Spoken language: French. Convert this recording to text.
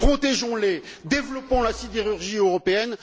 Protégeons les, développons la sidérurgie européenne.